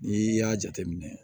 N'i y'a jateminɛ